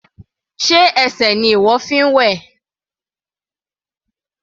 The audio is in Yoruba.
Sé ẹsẹ̀ ni ìwọ fi ń wẹ̀?